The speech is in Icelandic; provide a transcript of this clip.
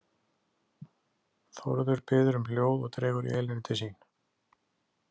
Þórður biður um hljóð og dregur Elínu til sín.